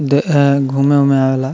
द अ घुमे-उमे आवेला।